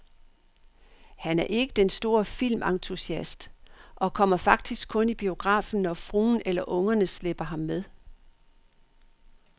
Han er ikke den store filmentusiast og kommer faktisk kun i biografen, når fruen eller ungerne slæber ham med.